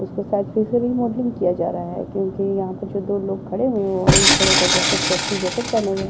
उसको शायद फिर से रीमॉडलिंग किया जा रहा है क्योंकि यहाँ पर जो दो लोग खड़े हुए हैं वो ऑरेंज कलर का जैकेट सेफ्टी जैकेट पहने हुए है।